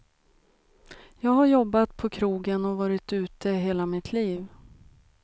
Jag har jobbat på krogen och varit ute hela mitt liv.